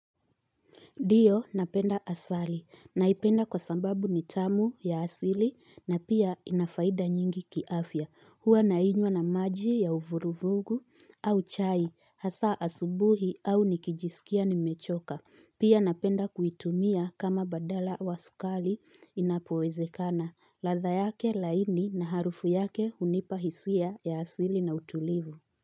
Dio napenda asali. Naipenda kwa sababu ni tamu ya asili na pia inafaida nyingi kiafya. Huwa nainywa na maji ya uvuruvugu au chai. Hasa asubuhi au nikijisikia nimechoka. Pia napenda kuitumia kama badala wa sukali inapuwezekana. Latha yake laini na harufu yake unipa hisia ya asili na utulivu.